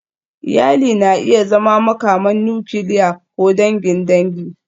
Iyali na iya zama makaman nukiliya ko dangin dangi.